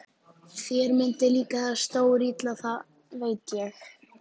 Þér myndi líka það stórilla, það veit ég.